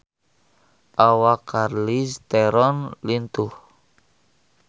Awak Charlize Theron lintuh